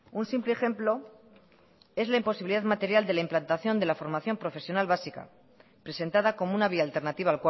un simple ejemplo es la imposibilidad material de la implantación de la formación profesional básica presentada como una vía alternativa